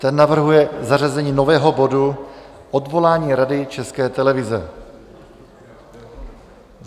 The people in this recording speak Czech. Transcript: Ten navrhuje zařazení nového bodu Odvolání Rady České televize.